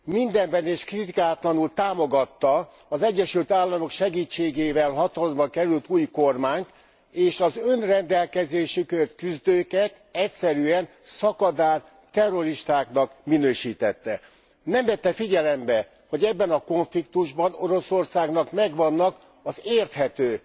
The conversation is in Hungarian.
Mindenben és kritikátlanul támogatta az Egyesült Államok segítségével hatalomra került új kormányt, és az önrendelkezésükért küzdőket egyszerűen szakadár terroristáknak minősítette. Nem vette figyelembe, hogy ebben a konfliktusban Oroszországnak megvannak az érthető,